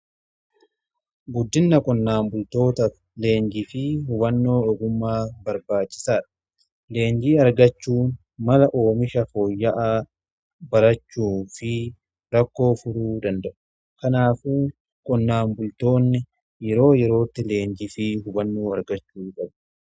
Guddinna qonnaan bultoota leenjii fi hubannoo ogumaa barbaachisaadha leenjii argachuu mala oomisha fooyya'aa barachuu fi rakkoo furuu danda'u. Kanaafuu qonnaan bultoonni yeroo yerootti leenjii fi hubannoo argachuu gabu.